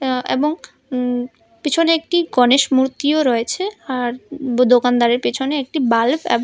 আ এবং উম পিছনে একটি গণেশ মূর্তিও রয়েছে আর দোকানদারের পেছনে একটি বাল্ব এবং--